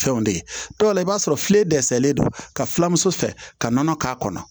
Fɛnw de ye dɔw la i b'a sɔrɔ filen dɛsɛlen don ka filamuso fɛ ka nɔnɔ k'a kɔnɔ